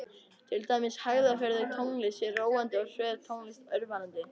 Til dæmis að hægferðug tónlist sé róandi og hröð tónlist örvandi.